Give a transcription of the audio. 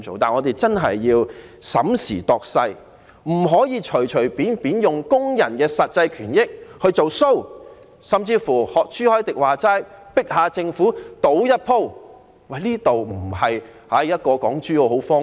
我們會認真審時度勢，不能隨便用工人的實際權益來"做 show"， 或甚至如朱凱廸議員所說，要迫政府賭一局。